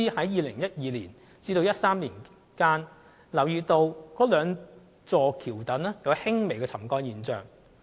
2012年至2013年間，港鐵公司留意到該兩座橋躉出現輕微的沉降現象。